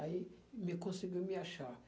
Aí me conseguiu me achar.